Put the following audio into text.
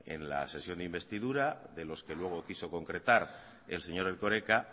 en la sesión de investidura de los que luego quiso concretar el señor erkoreka